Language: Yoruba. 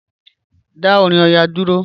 Dá orin Ọya dúró.